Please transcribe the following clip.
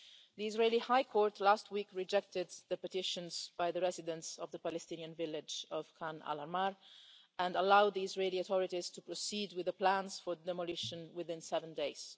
The Israeli High Court last week rejected the petitions by the residents of the Palestinian village of Khan al Ahmar and allowed the Israeli authorities to proceed with the plans for demolition within seven days.